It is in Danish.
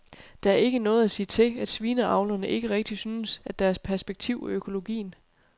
Der er ikke noget at sige til, at svineavlerne ikke rigtig synes, at der er perspektiv i økologien.